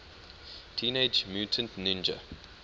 teenage mutant ninja